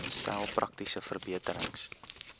stel praktiese verbeterings